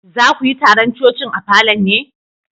Za ku yi taron coci'n a falon ne?